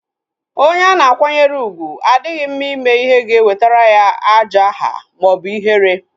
Onye ana akwanyere ugwu adịghị mma ime ihe ga-ewetara ya ajo aha maọbụ ihere